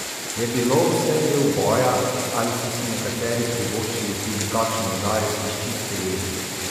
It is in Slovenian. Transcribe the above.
Je bilo vse del boja ali so si nekateri privoščili tudi kakšen udarec iz čiste jeze?